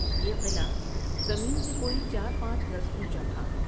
یہ قلعہ زمین سے کوئی چار پانچ گز اونچا تھا ۔